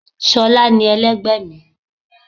sholá ní, elẹgbẹ mi